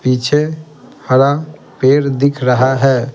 पीछे हरा पेड़ दिख रहा है ।